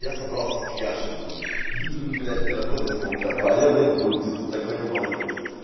я собрался к яше дуть мне работать в пол пятого а я блять дуть иду тут такой я молодец